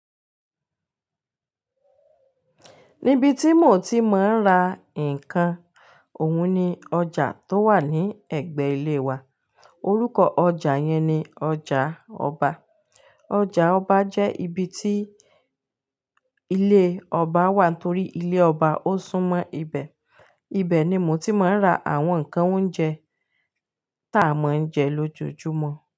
Níbi tí mo ti máa ń ra nǹkan òun ni ọjà tó wà ní ẹ̀gbẹ́ ilé wa. Orúkọ ọjà yẹn ni ọjà ọba. Ọjà ọba jẹ́ ibi tí ilé ọba wà torí ilé ọba ó sún mọ́ ibẹ̀. Ibẹ̀ ni mo ti máa ń ra àwọn nǹkan oúnjẹ tá a máa ń jẹ lójoojúmọ́